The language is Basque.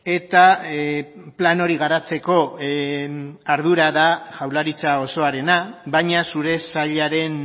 eta plan hori garatzeko ardura da jaurlaritza osoarena baina zure sailaren